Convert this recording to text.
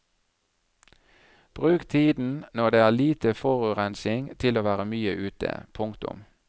Bruk tiden når det er lite forurensning til å være mye ute. punktum